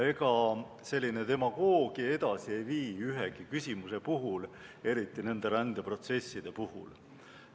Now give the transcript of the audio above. Ega selline demagoogia ei vii edasi ühegi küsimuse puhul, eriti aga rändeprotsesside puhul.